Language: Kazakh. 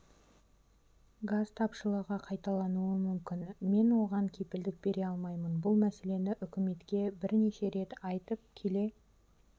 газ тапшылығы қайталануы мүмкін мен оған кепілдік бере алмаймын бұл мәселені үкіметке бірнеше рет айтып келе